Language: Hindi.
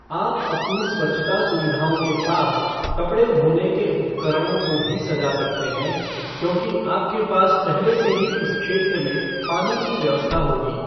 आप अपनी स्वच्छता सुविधाओं के पास कपड़ें धोने के उपकरणों को भी सजा सकते हैं क्योंकि आपके पास पहले से ही उस क्षेत्र में पानी की व्यवस्था होगी।